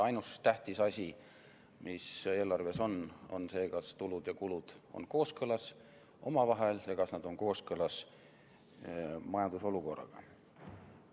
Ainus tähtis asi, mis eelarves on, on see, kas tulud ja kulud on kooskõlas omavahel ja kas nad on kooskõlas majandusolukorraga.